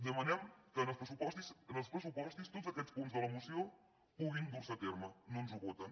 demanem que en els pressupostos tots aquests punts de la moció puguin dur se a terme no ens ho voten